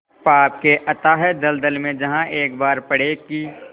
पाप के अथाह दलदल में जहाँ एक बार पड़े कि